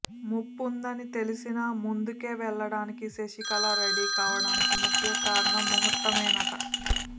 ముప్పుందని తెలిసినా ముందుకే వెళ్ళడానికి శశికళ రెడీ కావడానికి ముఖ్య కారణం ముహూర్తమేనట